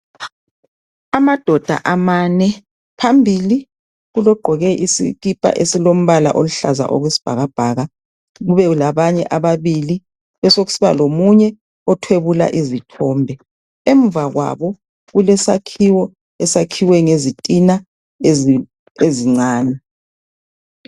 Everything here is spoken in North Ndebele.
Amadoda amane phambili kulogqoke isikipa esilombala oluhlaza okwesibhakabhaka kube labanye ababili kube sokusiba lomunye othwebula izithombe. Emuva kwabo kulesakhiwo esakhiwe ngezitina ezincane.